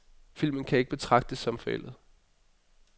Filmen kan ikke betragtes som forældet.